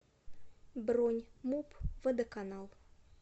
бронь муп водоканал